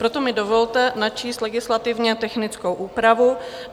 Proto mi dovolte načíst legislativně technickou úpravu.